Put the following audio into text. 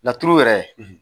Natouru yɛrɛ, .